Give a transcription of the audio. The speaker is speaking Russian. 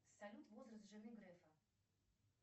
салют возраст жены грефа